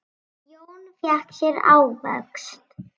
Jón fékk sér ávöxt.